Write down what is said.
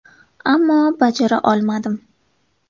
Ammo bajara olmadim.